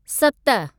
सत